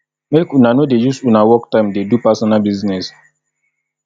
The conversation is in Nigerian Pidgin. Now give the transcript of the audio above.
make una no dey use una work time dey do personal business